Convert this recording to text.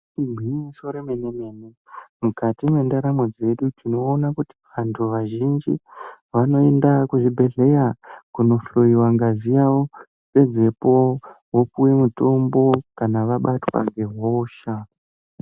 Gwinyiso remene mene mukati mwendaramo yedu tinoona kuti vantu vazhinji vanoenda kuzvibhedhleya kunohloyiwa ngazi yavo pedzepo vopuwe mutombo kana vabatwa ngehosha.